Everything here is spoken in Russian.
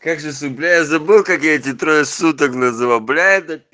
как же цепляет забыл как эти трое суток называл бля это пи